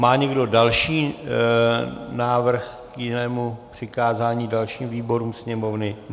Má někdo další návrh k jinému přikázání dalším výborům Sněmovny?